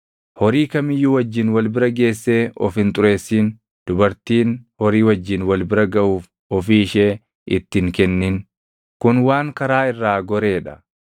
“ ‘Horii kam iyyuu wajjin wal bira geessee of hin xureessin; dubartiin horii wajjin wal bira gaʼuuf ofii ishee itti hin kennin; kun waan karaa irraa goree dha.